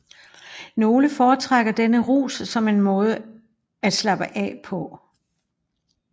Nogle foretrækker denne rus som en måde at slappe af på